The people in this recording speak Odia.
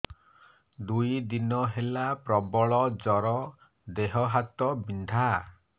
ଦୁଇ ଦିନ ହେଲା ପ୍ରବଳ ଜର ଦେହ ହାତ ବିନ୍ଧା